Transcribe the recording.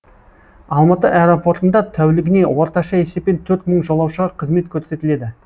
алматы аэропортында тәулігіне орташа есеппен төрт мың жолаушыға қызмет көрсетіледі